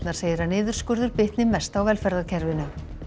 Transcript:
segir að niðurskurður bitni mest á velferðarkerfinu